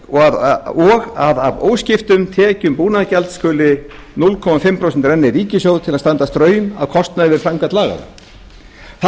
og að af óskiptum tekjum búnaðargjalds skuli hálft prósent renna í ríkissjóð til að standa straum af kostnaði við framkvæmd laganna þarna eru